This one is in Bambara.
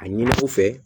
A ɲini u fɛ